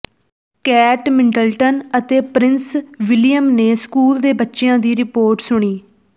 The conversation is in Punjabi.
ਕੇਟ ਮਿਡਲਟਨ ਅਤੇ ਪ੍ਰਿੰਸ ਵਿਲੀਅਮ ਨੇ ਸਕੂਲ ਦੇ ਬੱਚਿਆਂ ਦੀ ਰਿਪੋਰਟ ਸੁਣੀ